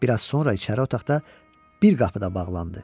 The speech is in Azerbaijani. Bir az sonra içəri otaqda bir qapı da bağlandı.